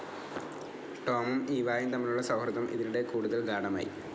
ടോമും ഈവായും തമ്മിലുള്ള സൗഹൃദം ഇതിനിടെ കൂടുതൽ ഗാഢമായി.